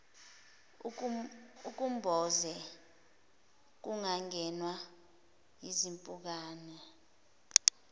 ukumboze kungangenwa yizimpukane